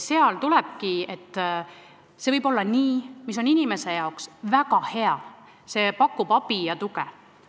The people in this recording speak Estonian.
See võib olla tehtud nii, nagu on inimese jaoks väga hea, see pakub abi ja tuge.